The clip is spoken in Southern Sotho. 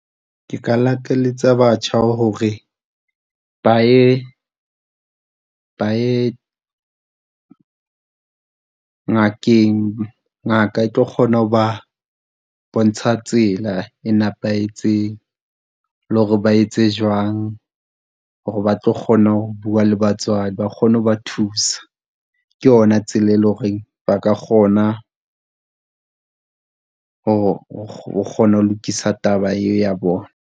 Ke ka lakaletsa batjha hore ba ye, ba ye ngakeng. Ngaka e tlo kgona ho ba bontsha tsela e nepahetseng, le hore ba etse jwang hore ba tlo kgona ho bua le batswadi, ba kgone ho ba thusa. Ke yona tsela e le horeng ba ka kgona ho kgona ho lokisa taba eo ya bona.